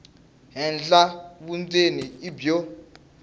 henhla vundzeni i byo